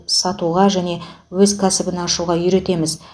сатуға және өз кәсібін ашуға үйретеміз